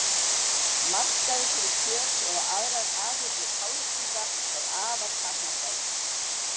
Markaður fyrir kjöt eða aðrar afurðir háhyrninga er afar takmarkaður.